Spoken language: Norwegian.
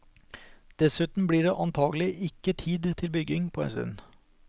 Dessuten blir det antakelig ikke tid til bygging på en stund.